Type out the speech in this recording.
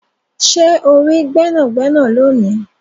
Ṣe o ri gbẹnagbẹna loni?